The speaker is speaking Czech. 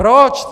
Proč?